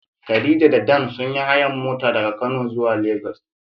Khadija da Dan sun yi hayar mota daga kano zuwa lagos.